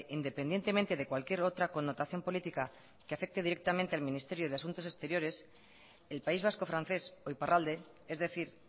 independientemente de cualquier otra connotación política que afecte directamente al ministerio de asuntos exteriores el país vasco francés o iparralde es decir